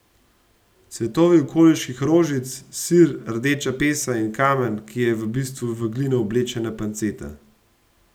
Cvetovi okoliških rožic, sir, rdeča pesa in kamen, ki je v bistvu v glino oblečena panceta.